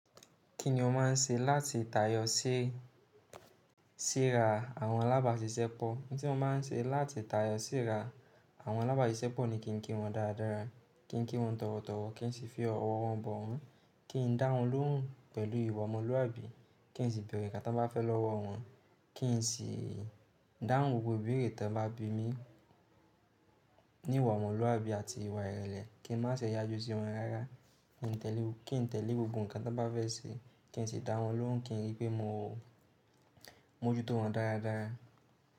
Kí ni o máa ń ṣe láti tayọ sí sira àwọn alábàáṣiṣẹ́ pọ̀? Ohun tí mo máa ń ṣe láti tayọ sí ra àwọn alábàáṣiṣẹ́ pọ̀ ni kí n kí wọn dáradára, kí n kí wọn tọ̀wọ̀tọ̀wọ̀, kí n sì fi ọ̀wọ̀ wọn bọ̀ won, kí n dá wọn lóhùn pẹ̀lú ìwà ọmọlúwàbí, kí n sì bẹ̀rẹ̀ ǹkan tí wọ́n bá fẹ́ lọ́wọ́ wọn, kí n sì dáhùn gbogbo ìbéèrè tí wọ́n bá bi mí ní ìwà ọmọlúwàbí àti ìwà ìrẹ̀lẹ̀, kí n má ṣe yájú sí wọn rárá, kí n tẹ̀lé gbogbo ǹkan tí wọ́n bá fẹ́ ṣe, kí n sì dá wọn lóhùn kí n rí pé mo mójú tó wọn dáradára.